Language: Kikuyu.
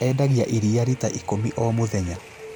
Endagia iria rita ikũmi o,mũthenya